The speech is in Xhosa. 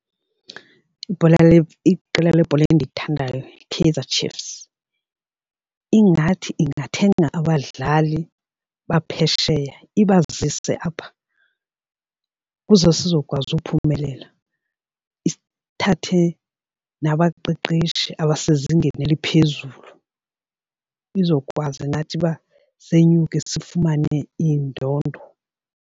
Ibhola iqela lebhola endilithandayo yiKaizerChiefs. Ingathi ingathenga abadlali baphesheya ibazise apha ukuze sizokwazi uphumelela, ithathe nabaqeqeshi abasezingeni eliphezulu sizokwazi nathi uba senyuke sifumane iindondo.